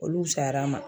Olu fusayara n ma